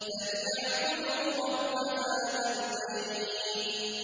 فَلْيَعْبُدُوا رَبَّ هَٰذَا الْبَيْتِ